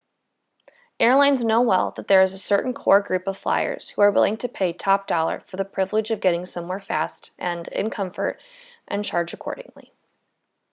airlines know well that there is a certain core group of flyers who are willing to pay top dollar for the privilege of getting somewhere fast and in comfort and charge accordingly